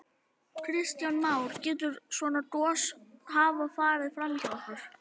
Kristján Már: Getur svona gos hafa farið fram hjá okkur?